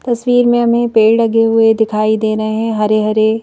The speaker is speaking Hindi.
तस्वीर में हमें पेड़ लगे हुए दिखाई दे रहे हैं हरे-हरे--